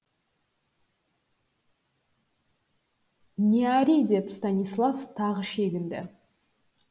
не ори деп станислав тағы шегінді